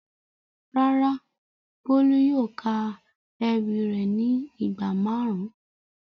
Rárá, Bolu yóò ka ewi re ni igba marun.